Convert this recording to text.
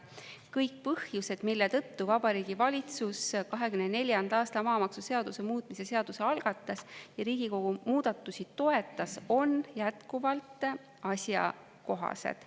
Kõik põhjused, mille tõttu Vabariigi Valitsus 2024. aasta maamaksuseaduse muutmise seaduse algatas ja Riigikogu muudatusi toetas, on jätkuvalt asjakohased.